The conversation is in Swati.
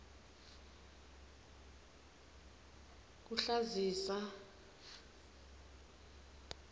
kuhlazisa